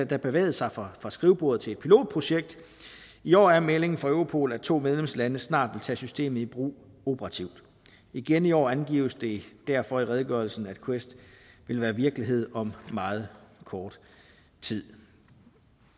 da bevæget sig fra fra skrivebordet til et pilotprojekt i år er meldingen fra europol at to medlemslande snart vil tage systemet i brug operativt igen i år angives det derfor i redegørelsen at quest vil være virkelighed om meget kort tid